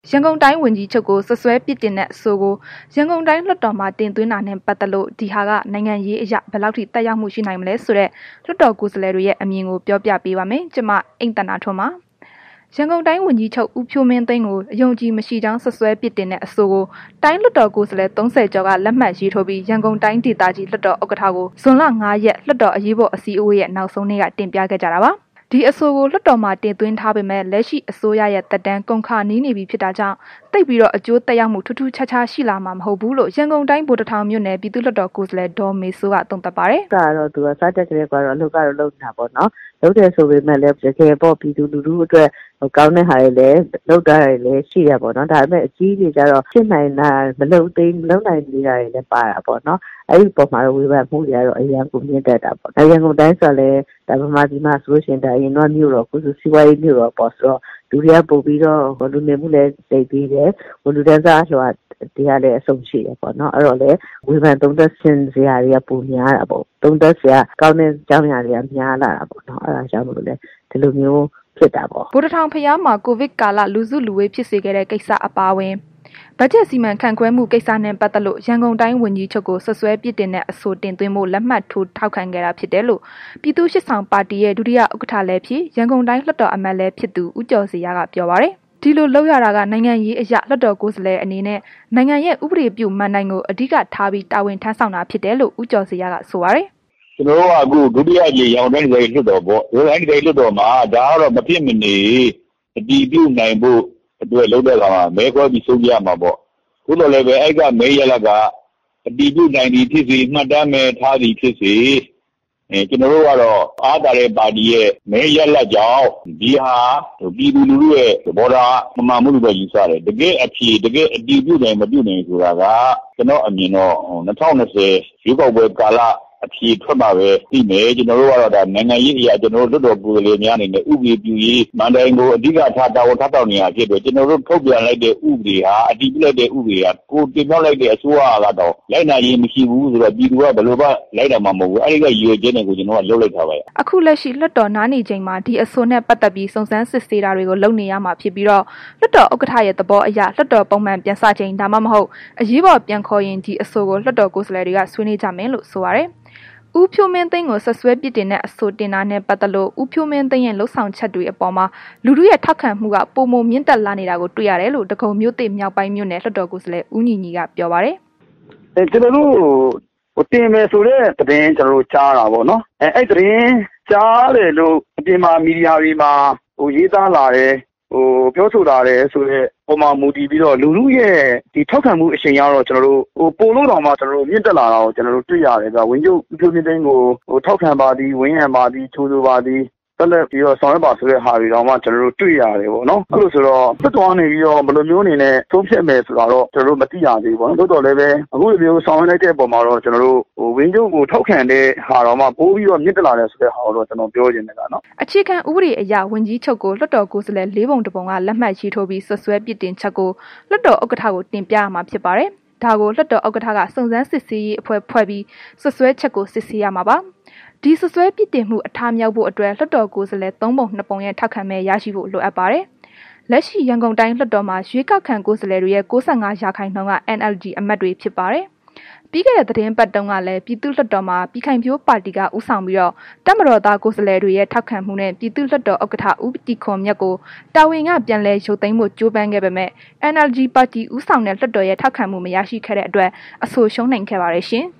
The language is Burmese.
ရန်ကုန်တိုင်းဝန်ကြီးချုပ်ကို စွပ်စွဲပြစ်တင်တဲ့ အဆိုကို ရန်ကုန်တိုင်းလွှတ်တော်မှာ တင်သွင်းတာနဲ့ ပတ်သက်လို့ ဒီဟာက နိုင်ငံရေးအရ ဘယ်လောက်ထိ သက်ရောက်မှု ရှိနိုင်မလဲဆိုတဲ့ လွှတ်တော်ကိုယ်စားလှယ်တွေရဲ့ အမြင်ကို ပြောပြပေးပါမယ်။ ဒီအကြောင်း ဗွီအိုအေမြန်မာပိုင်း သတင်းထောက် မအိမ့်သန္တာထွန်းက တင်ဆက်ပေးပါမယ်။ ရန်ကုန်တိုင်းဝန်ကြီးချုပ် ဦးဖြိုးမင်းသိန်းကို အယုံအကြည်မရှိကြောင်း စွပ်စွဲ ပြစ်တင်တဲ့ အဆိုကို တိုင်းလွတ်တော်ကိုယ်စားလှယ် ၃၀ ကျော်က လက်မှတ်ရေးထိုးပြီး ရန်ကုန်တိုင်းဒေသကြီး လွှတ်တော် ဥက္ကဋ္ဌကို ဇွန်လ ၅ ရက် လွှတ်တော်အရေးပေါ် အစည်းအဝေးရဲ့ နောက်ဆုံးနေ့က တင်ပြခဲ့ကြတာပါ။ ဒီအဆိုကို လွှတ်တော်မှာ တင်သွင်းထားပေမယ့် လက်ရှိအစိုးရရဲ့ သက်တမ်း ကုန်ခါနီးနေပြီးဖြစ်တာကြောင့် သိပ်ပြီးတော့ အကျိုးသက်ရောက်မှု ထူးထူးခြားခြားရှိလာမှာ မဟုတ်ဘူးလို့ ရန်ကုန်တိုင်း ဗိုလ်တထောင်မြို့နယ် ပြည်သူ့လွှတ်တော်ကိုယ်စားလှယ် ဒေါမေစိုးက သုံးသပ်ပါတယ်။ “လုပ်တာကတော့ သူက စတက်ကတည်းကကို အလုပ်ကတော့ လုပ်နေတာပေါ့နော်။ လုပ်တယ်ဆိုပေမဲ့လည်း တကယ်ပြည်သူလူထုအတွက် ကောင်းတဲ့ဟာတွေ လုပ်ထားတာတွေလည်း ရှိတယ်ပေါ့နော်။ ဒါပေမဲ့ အကြီးတွေကျတော့ မလုပ်နိုင်သေးတာ၊ မဖြစ်နိုင်သေးတာတွေလည်း ပါတာပေါ့နော်။ အဲ့ဒီအပေါ်မှာတော့ ဝေဖန်မှုတွေက အရမ်းကို မြင့်တက်တာပေါ့နော်၊ ရန်ကုန်တိုင်းဆိုတာကလည်း အရင်ကဆိုရင် မြို့တော် အခုဆိုရင် စီးပွားရေးမြို့တော်ပေါ့ဆိုတော့ လူနေမှုလည်း သိပ်သည်းတယ်။ လူတန်းစားအလွှာတွေကလည်း အစုံရှိတယ်။ အဲ့တော့လည်း ဝေဖန်သုံးသပ်ချင်စရာတွေကလည်း ပိုများတာပေါ့။ သုံးသပ်စရာကောင်းတဲ့ အကြောင်းအရာတွေက များလာတာပေါ့။ အဲ့တာကြောင့်မို့လို့လည်း ဒီလိုမျိုးဖြစ်တာပေါ့။” ဗိုလ်တထောင်ဘုရားမှာ ကိုဗစ်ကာလ လူစုလူဝေးဖြစ်စေခဲ့တဲ့ကိစ္စ အပါအဝင် ဘတ်ဂျက် စီမံခန့်ခွဲမှု ကိစ္စတွေနဲ့ ပတ်သက်လို့ ရန်ကုန်တိုင်းဝန်ကြီးချုပ်ကို စွပ်စွဲပြစ်တင်တဲ့ အဆိုတင်သွင်းဖို့ လက်မှတ်ထိုး ထောက်ခံခဲ့တာဖြစ်တယ်လို့ ပြည်သူ့ရှေ့ဆောင်ပါတီရဲ့ ဒုတိယဥက္ကဋ္ဌလည်းဖြစ် ရန်ကုန်တိုင်းလွှတ်တော်အမတ်လည်းဖြစ်သူ ဦးကျော်ဇေယျက ပြောပါတယ်။ ဒီလို လုပ်ရတာက နိုင်ငံရေးအရ လွှတ်တော်ကိုယ်စားလှယ်အနေနဲ့ နိုင်ငံရဲ့ ဥပဒေပြုမဏ္ဍိုင်ကို အဓိကထားပြီး တာဝန်ထမ်းဆောင်တာဖြစ်တယ်လို့ ဦးကျော်ဇေယျက ဆိုပါတယ်။ “ကျနော်တို့ အခုဒါ ဒုတိယအကြိမ် ရန်ကုန်တိုင်းဒေသကြီး လွှတ်တော်ပေါ့၊ ဒီလွှတ်တော်မှာ ဒါကမဖြစ်မနေ အတည်ပြုနိုင်ဖို့အတွက် လုပ်တဲ့အခါမှာ မဲခွဲပြီး ဆုံးဖြတ်ရမှာပေါ့၊ သို့သော်လည်းပဲ အဲ့က မဲရလာဒ်က အတည်ပြုနိုင်သည်ဖြစ်စေ၊ မှတ်တမ်းပဲ ထားနိုင်သည်ဖြစ်စေ ကျနော်တို့ကတော့ ဒါဟာ အားပါတဲ့ပါတီရဲ့ မဲရလာဒ်ကြောင့် ဒီဟာ ပြည်သူလူထုရဲ့ သဘောထားမမှန်ဘူးလို့ပဲ ယူဆတယ်။ တကယ့်အဖြေ၊ တကယ်အတည်ပြုနိုင်၊ မပြုနိုင်ဆိုတာက ကျနော့်အမြင်တော့ ၂၀၂၀ ရွေးကောက်ပွဲကာလ အဖြေထွက်မှပဲ သိမယ်။ ကျနော်တို့ကတော့ ဒါနိုင်ငံရေးအရ ကျနော်တို့ လွှတ်တော်ကိုယ်စားလှယ်များ အနေနဲ့ ဥပဒေပြုရေမဏ္ဍိုင်ကို အဓိကထား တာဝန်ထမ်းဆောင် နေတာဖြစ်တယ်။ ကျနော်တို့ ထုတ်ပြန်လိုက်တဲ့ ဥပဒေဟာ အတည်ပြုလိုက်တဲ့ ဥပဒေဟာ ကိုယ်တင်မြှောက်လိုက်တဲ့ အစိုးရကတော့ လိုက်နာခြင်းမရှိဘူးဆိုရင် ပြည်သူကလည်း ဘယ်လိုမှ လိုက်နာမှာမဟုတ်ဘူး။ အဲ့ဒီအတွက် ရည်ရွယ်ချက်နဲ့ကို ကျနော်တို့က လုပ်လိုက်တာပဲ။” အခုလက်ရှိ လွှတ်တော်နားနေချိန်မှာ ဒီအဆိုနဲ့ ပတ်သက်ပြီး စုံစမ်းစစ်ဆေးတာတွေကို လုပ်နေရမှာဖြစ်ပြီးတော့ လွှတ်တော်ဥက္ကဋ္ဌရဲ့ သဘောအရ လွှတ်တော် ပုံမှန်ပြန်စချိန် ဒါမှမဟုတ် အရေးပေါ် ပြန်ခေါ်ရင် ဒီအဆိုကို လွှတ်တော်ကိုယ်စားလှယ်တွေက ဆွေးနွေးကြမယ်လို့ဆိုပါတယ်။ ဦးဖြိုးမင်းသိန်းကို စွပ်စွဲပြစ်တင်တဲ့အဆိုတင်တာနဲ့ပတ်သက်လို့ ဦးဖြိုးမင်းသိန်းရဲ့ လုပ်ဆောင်မှုတွေအပေါ်မှာ လူထုရဲ့ ထောက်ခံမှုတွေက ပိုမိုမြင့်တက်လာနေတာကို တွေ့ရတယ်လို့ ဒဂုံမြို့သစ်မြောက်ပိုင်းမြို့နယ် လွှတ်တော်ကိုယ်စားလှယ် ဦးညီညီက ပြောပါတယ်။ “ကျနော်တို့ ဟို တင်တယ်ဆိုတဲ့ သတင်းကြားတာပေါ့နော်။ အဲ့သတင်းကြားတယ်လို့ အပြင်မှာ မီဒီယာတွေမှာ ရေးသားလာတယ် ပြောဆိုလာတယ်ဆိုတဲ့ အပေါ်မှာ မူတည်ပြီးတော့ လူထုရဲ့ ထောက်ခံမှု အရှိန်ကတော့ ကျနော်တို့ ပိုပြီးတော့ မြင့်တက်လာတာကို တွေ့ရတယ်၊ ဝန်ကြီးချုပ် ဦးဖြိုးမင်းသိန်းကို ထောက်ခံပါသည်၊ ဝန်းရံပါသည်၊ ကြိုဆိုပါသည်၊ ဆက်လက်ပြီးတော့ ဆောင်ရွက်ပါ ဆိုတဲ့ဟာတွေတောင်မှ ကျနော်တို့တွေ့ရတယ်ပေါ့နော်။ အဲ့လိုဆိုတော့ လွှတ်တော်ကနေပြီးတော့ ဘယ်လိုမျိုးအနေနဲ့ ဆုံးဖြတ်မယ်ဆိုတာတော့ ကျနော်တို့ မသိရသေးဘူးပေါ့၊ ဒါပေမဲ့ အခုလိုမျိုးဆောင်ရွက်လိုက်တဲ့အပေါ်မှာတော့ ဝန်ကြီးချုပ်ကိုထောက်ခံတဲ့ဟာက ပိုပြီးတော့ မြင့်တက်လာတယ်ဆိုတာကိုတော့ ကျနော်ပြောချင်တယ်။” အခြေခံဥပဒေအရ ဝန်ကြီးချုုပ်ကို လွှတ်တော်ကိုယ်စားလှယ် ၄ ပုံ ၁ ပုံက လက်မှတ်ရေးထိုးပြီး စွပ်စွဲပြစ်တင်ချက်ကို လွှတ်တော်ဥက္ကဋ္ဌကို တင်ပြရမှာဖြစ်ပါတယ်။ ဒါကို လွှတ်တော်ဥက္ကဋ္ဌက စုံစမ်း စစ်ဆေးရေးအဖွဲ့ဖွဲ့ပြီး စွပ်စွဲချက်ကို စစ်ဆေးရမှာပါ။ ဒီစွပ်စွဲပြစ်တင်မှု အထမြောက်ဖို့အတွက် လွှတ်တော်ကိုယ်စားလှယ် ၃ပုံ ၂ ပုံရဲ့ ထောက်ခံမဲ ရရှိဖို့လိုအပ်ပါတယ်။ လက်ရှိ ရန်ကုန်တိုင်းလွတ်တော်မှာ ရွေးကောက်ခံကိုယ်စားလှယ်တွေရဲ့ ၉၅ ရာခိုင်နှုန်းက NLD အမတ်တွေဖြစ်ပါတယ်။ ပြီးခဲ့တဲ့ သီတင်းပတ်တုန်းကလည်း ပြည်သူ့လွှတ်တော်မှာ ပြည်ခိုင်ဖြိုးပါတီက ဦးဆောင်ပြီး တပ်မတော်သားကိုယ်စားလှယ်တွေရဲ့ ထောက်ခံမှုနဲ့ ပြည်သူ့လွှတ်တော်ဥက္ကဋ္ဌ ဦးတီခွန်မြတ်ကို တာဝန်က ပြန်လည်ရုပ်သိမ်းဖို့ ကြိုးပမ်းခဲ့ပေမယ့် NLD ပါတီ ဦးဆောင်တဲ့ လွတ်တော်ရဲ့ ထောက်ခံမှုမရရှိခဲ့တဲ့အတွက် အဆိုရှုံးနိမ့်ခဲ့ပါတယ်ရှင်။